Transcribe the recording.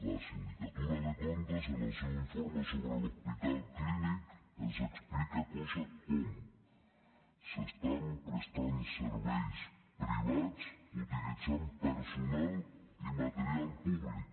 la sindicatura de comptes en el seu informe sobre l’hospital clínic ens explica coses com s’estan prestant serveis privats utilitzant personal i material públic